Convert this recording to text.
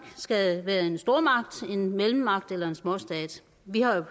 skal være en stormagt en mellemmagt eller en småstat vi har jo